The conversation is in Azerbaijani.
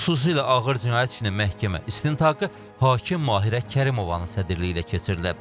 Xüsusilə ağır cinayət işinin məhkəmə istintaqı hakim Mahirə Kərimovanın sədrliyi ilə keçirilib.